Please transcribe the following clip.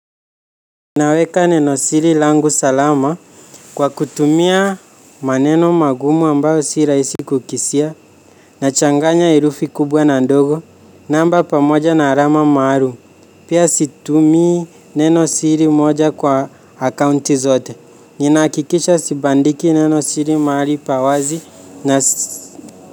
Naweka neno siri langu salama kwa kutumia maneno magumu ambayo si rahisi kukisia. Nachanganya herufi kubwa na ndogo namba pamoja na alama maalum. Pia situmii neno siri moja kwa akaunti zote. Nina hakikisha sibandiki neno siri mahali pa wazi na.